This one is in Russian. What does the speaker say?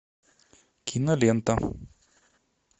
кинолента